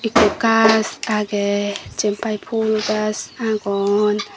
ko gaj agey jiyenpai phul gaj agon.